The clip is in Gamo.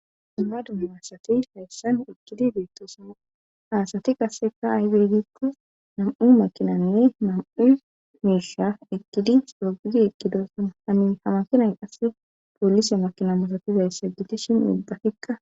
dumma dumma asati haysan eqqidi beettes; ha asati qassekka aybe giikko naa7u maakinanne naa7u miishsha ekkidi tookkidi eqqidosona; ha maakinay qasssi poolise makina malatizayssa gidishin ubbatikka.